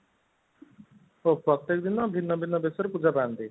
ଓଃ ପ୍ରତେକ ଦିନ ଭିନ୍ନ ଭିନ୍ନ ବେଶରେ ପୂଜା ପାଆନ୍ତି